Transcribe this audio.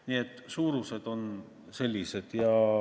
Nii et suurused on sellised.